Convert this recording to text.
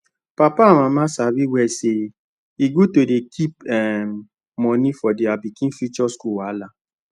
papa and mama sabi well say e good to dey keep um money for their pikin future school wahala